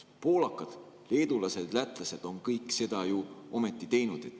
Poolakad, leedulased ja lätlased on kõik seda ometi teinud.